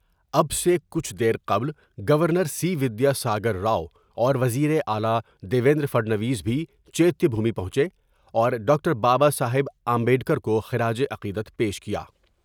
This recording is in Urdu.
اب سے کچھ دیر قبل governor C Vidyasagar اوروزیراعلی دیو مندر پر نو میں بھی چیتیہ بھومی پہنچے اور ڈاکٹر بابا صاحب امبیڈ کرکو خراج عقیدت پیش کیا ۔